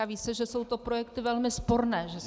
A ví se, že jsou to projekty velmi sporné -